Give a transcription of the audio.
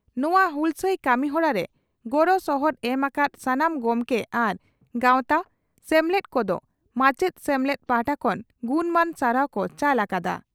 ᱱᱚᱣᱟ ᱦᱩᱞᱥᱟᱹᱭ ᱠᱟᱹᱢᱤᱦᱚᱨᱟ ᱨᱮ ᱜᱚᱲᱚ ᱥᱚᱦᱚᱫ ᱮᱢ ᱟᱠᱟᱫ ᱥᱟᱱᱟᱢ ᱜᱚᱢᱠᱮ ᱟᱨ ᱜᱟᱣᱛᱟ/ᱥᱮᱢᱞᱮᱫ ᱠᱚᱫᱚ ᱢᱟᱪᱮᱛ ᱥᱮᱢᱞᱮᱫ ᱯᱟᱦᱴᱟ ᱠᱷᱚᱱ ᱜᱩᱱᱢᱟᱱ ᱥᱟᱨᱦᱟᱣ ᱠᱚ ᱪᱟᱞ ᱟᱠᱟᱫᱼᱟ ᱾